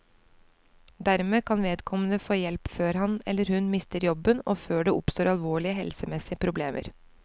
Dermed kan vedkommende få hjelp før han, eller hun, mister jobben og før det oppstår alvorlige helsemessige problemer.